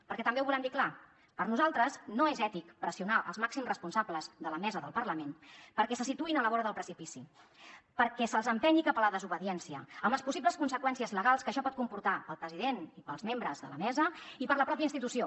perquè també ho volem dir clar per nosaltres no és ètic pressionar els màxims responsables de la mesa del parlament perquè se situïn a la vora del precipici perquè se’ls empenyi cap a la desobediència amb les possibles conseqüències legals que això pot comportar al president i per als membres de la mesa i per a la mateixa institució